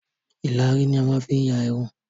Ìlàrí ni a máa n fi ya Irun